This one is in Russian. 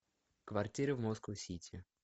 квартиры в москоу сити